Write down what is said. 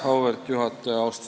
Auväärt juhataja!